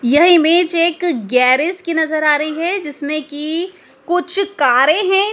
यह इमेज एक गैरेज की नजर आ रही है जिसमें कि कुछ कारें हैं।